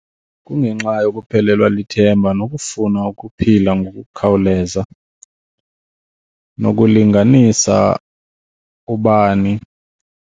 Kungenxa yokuphelelwa lithemba nokufuna ukuphila ngokukhawuleza nokulinganisa ubani.